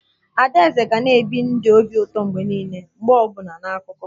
Adaeze na ga-ebi ndụ obi ụtọ mgbe niile mgbe ọ bụla na akụkọ